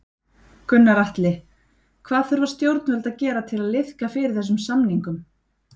Gunnar Atli: Hvað þurfa stjórnvöld að gera til að liðka fyrir þessum samningum?